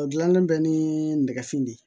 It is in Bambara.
O dilannen bɛ ni nɛgɛsi de ye